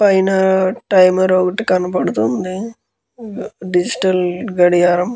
పైన టైమర్ ఒకటి కనపడుతుంది. డిజిటల్ గడియారం.